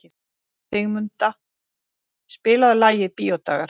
Sigurmunda, spilaðu lagið „Bíódagar“.